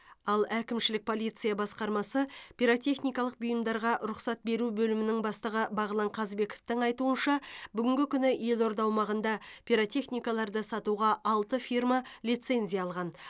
ал әкімшілік полиция басқармасы пиротехникалық бұйымдарға рұқсат беру бөлімінің бастығы бағлан қазбековтің айтуынша бүгінгі күні елорда аумағында пиротехикаларды сатуға алты фирма лицензия алған